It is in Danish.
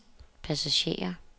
passagerer